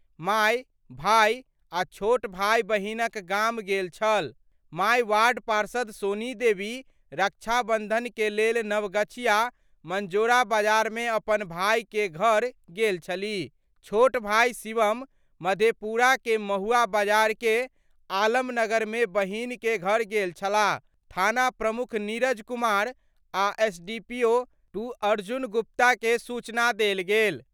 माय, भाइ आ छोट भाइ बहिनक गाम गेल छल : माए वार्ड पार्षद सोनी देवी रक्षाबंधन के लेल नवगछिया मंजोरा बाजार मे अपन भाई के घर गेल छलीह. छोट भाई शिवम मधेपुरा के महुवा बाजार के आलमनगर मे बहिन के घर गेल छलाह थाना प्रमुख नीरज कुमार आ एसडीपीओ-2 अर्जुन गुप्ता के सूचना देल गेल।